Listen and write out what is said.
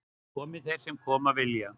Komi þeir sem koma vilja